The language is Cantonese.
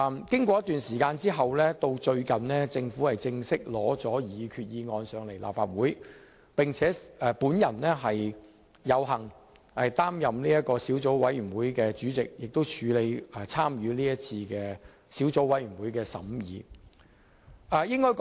經過一段時間後，最近政府正式向立法會提交擬議決議案，我有幸擔任小組委員會主席，參與小組委員會的審議工作。